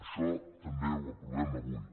això també ho aprovem avui